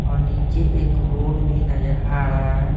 और नीचे एक रोड भी नजर आ रहा है।